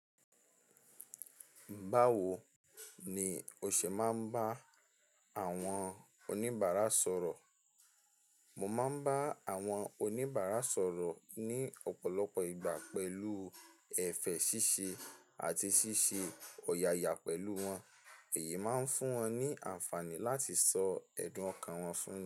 Báwo ni o ṣe máa ń bá àwọn oníbàárà sọ̀rọ̀? Mo máa ń bá àwọn oníbàárà sọ̀rọ̀ ní ọ̀pọ̀lọpọ̀ ìgbà pẹ̀lú ẹ̀fẹ̀ ṣíṣe àti ṣíṣe ọ̀yàyà pẹ̀lú wọn. Iyi máa ń fún wọn ní àǹfààní láti sọ ẹ̀dùn ọkàn wọn fún mi.